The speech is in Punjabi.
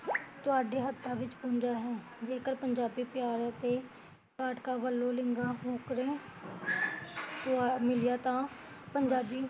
ਤੁਹਾਡੇ ਹੱਥਾਂ ਵਿੱਚ ਪੁੰਜਾਂ ਹੈ ਜੇਕਰ ਪੰਜਾਬੀ ਪਿਆਰ ਅਤੇ ਪਾਠਕਾਂ ਵੱਲੋਂ ਮਿਲਿਆ ਤਾਂ